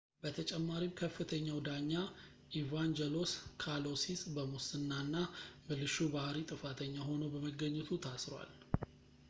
በተጨማሪም ከፍተኛው ዳኛ ኢቫንጀሎስ ካሎሲስ በሙስና እና ብልሹ ባህሪ ጥፋተኛ ሆኖ በመገኘቱ ታስሯል